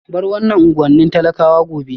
Bar wannan unguwannin talakawa gobe